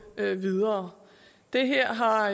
videre det her har